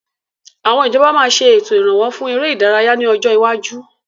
Àwọn ìjọba máa ṣe ètò Ìrànwọ́ fún ère ìdárayá ni ọjọ́ iwáju.